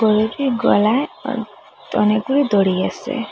গরুটির গলায় অ অনেকগুলি দড়ি আসে।